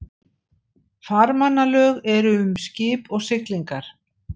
Farmannalög eru um skip og siglingar.